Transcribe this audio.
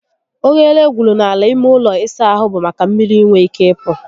Oghere egwuru n'ala ime ụlọ ịsa ahụ bụ maka mmiri inwe ike ịpụ